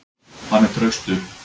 Hann er traustur.